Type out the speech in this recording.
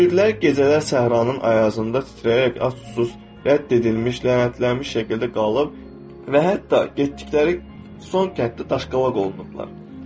Müridlər gecələr səhranın ayazında titrəyərək, ac-susuz, rədd edilmiş, lənətlənmiş şəkildə qalıb və hətta getdikləri son kənddə daşqalaq olunublar.